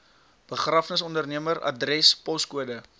begrafnisondernemer adres poskode